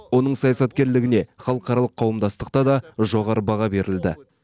оның саясаткерлігіне халықаралық қауымдастықта да жоғары баға берілді